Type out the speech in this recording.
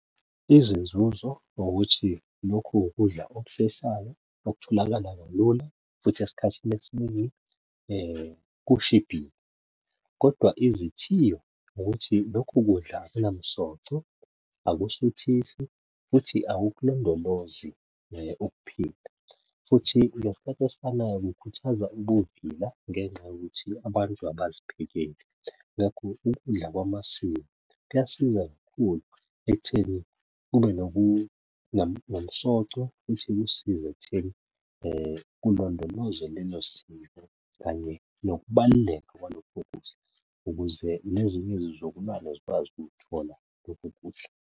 Izinzuzo ukuthi lokhu ukudla okusheshayo, okutholakala kalula, futhi esikhathini esiningi kushibhile, kodwa izithiyo ukuthi lokhu kudla akunomsoco, akusuthisi, futhi akukulondolozi ukuphila, futhi ngesikhati esifanayo kukhuthaza ubuvila ngenxa yokuthi abantu abaziphekeli. Ngakho ukudla kwamasiko kuyasiza kakhulu ekutheni kube nomsoco futhi kusiza ekutheni kulondoloze lelo siko, kanye nokubaluleka kwalokho kudla ukuze nezinye izizukulwane zikwazi ukukuthola lokhu kudla.